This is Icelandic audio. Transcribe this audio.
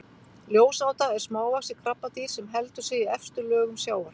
ljósáta er smávaxið krabbadýr sem heldur sig í efstu lögum sjávar